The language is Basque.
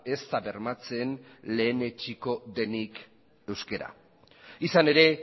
ez da bermatzen lehenetsiko denik euskera izan ere